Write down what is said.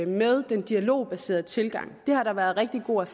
med den dialogbaserede tilgang det har der været rigtig god